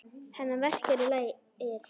Hana verkjar í legið.